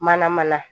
Mana mana